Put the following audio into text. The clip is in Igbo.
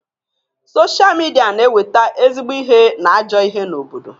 Sochaa midia na eweta ezigbo ihe na ajọ ihe n'obodo.